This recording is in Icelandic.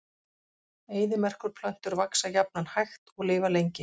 Eyðimerkurplöntur vaxa jafnan hægt og lifa lengi.